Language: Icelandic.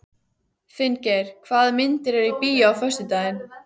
Finngeir, hvaða myndir eru í bíó á föstudaginn?